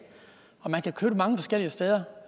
og man kan købe det mange forskellige steder